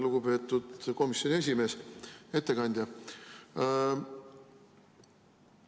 Lugupeetud komisjoni esimees, ettekandja!